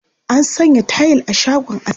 An sanya tayil a shagon askin.